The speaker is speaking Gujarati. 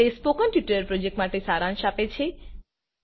તે સ્પોકન ટ્યુટોરીયલ પ્રોજેક્ટ માટે સારાંશ આપે છે